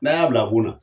N'a y'a bila bon na